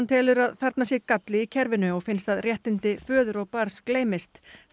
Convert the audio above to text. telur að þarna sé galli í kerfinu og finnst að réttindi föður og barns gleymist